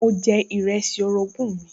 Mo jẹ ìrẹsì orogún mi